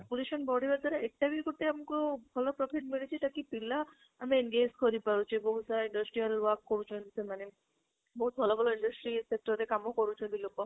ବଢିବା ଦ୍ବାରା ଏଟାବି ଗୋଟେ ଆମକୁ ଭଲ profit ମିଳିଛି ତାକି ପିଲା ଆମେ engage କରି ପାରୁଛେ ବହୁତ ସାରା industrial work କରୁଛନ୍ତି ସେମାନେ ବହୁତ ଭଲ ଭଲ industry sector ରେ କାମ କରୁଛନ୍ତି ଲୋକ